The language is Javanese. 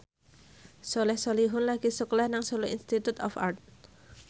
Soleh Solihun lagi sekolah nang Solo Institute of Art